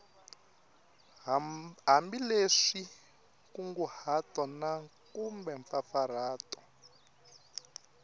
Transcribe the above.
hambileswi nkunguhato na kumbe mpfampfarhuto